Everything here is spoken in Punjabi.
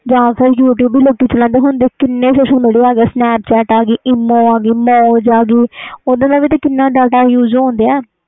ਜਾ ਫਿਰ youtube ਵੀ ਲੋਕ ਚਲਦੇ ਹੁੰਦੇ ਸੀ ਹੁਣ ਕਿੰਨੇ social media ਆ ਗੇ sanpchat ਆ ਗੀ emoji ਆ ਗੀ moj ਆ ਗੀ ਓਹਦੇ ਨਾਲ ਕਿੰਨਾ data use ਹੁੰਦਾ ਆ